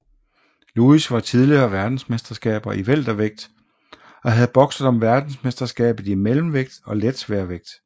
Lewis var tidligere verdensmester i weltervægt og havde bokset om verdensmesterskabet i mellemvægt og letsværvægt